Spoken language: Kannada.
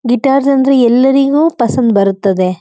ಗಿಟಾರ್ಸ್ ಅಂದ್ರೆ ಎಲ್ಲರಿಗೂ ಪಸಂದ್ ಬರುತ್ತದೆ